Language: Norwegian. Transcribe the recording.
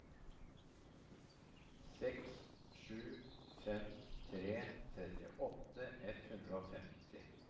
seks sju fem tre trettiåtte ett hundre og femti